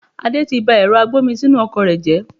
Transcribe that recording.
Adé tí bá ẹ̀rọ agbomisinu ọkọ̀ rẹ jẹ